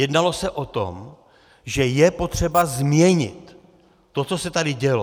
Jednalo se o tom, že je potřeba změnit to, co se tady dělo.